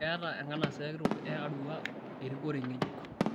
Keeta enkanasa kitok e Arua erikore ng'ejuk